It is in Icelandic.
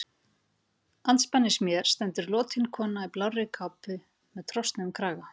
Andspænis mér stendur lotin kona í blárri kápu með trosnuðum kraga.